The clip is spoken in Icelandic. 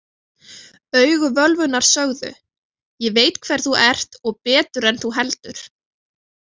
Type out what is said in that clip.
Augu völvunnar sögðu: Ég veit hver þú ert og betur en þú heldur.